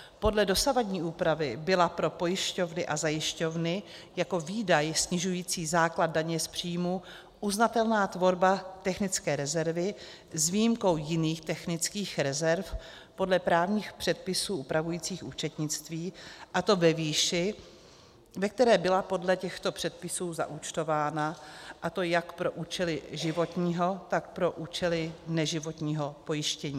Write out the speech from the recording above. Podle dosavadní úpravy byla pro pojišťovny a zajišťovny jako výdaj snižující základ daně z příjmů uznatelná tvorba technické rezervy, s výjimkou jiných technických rezerv podle právních předpisů upravujících účetnictví, a to ve výši, ve které byla podle těchto předpisů zaúčtována, a to jak pro účely životního, tak pro účely neživotního pojištění.